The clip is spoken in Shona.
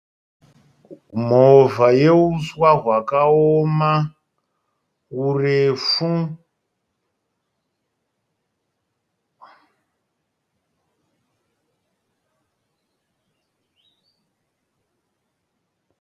Movha yeuswa hwakaoma hurefu.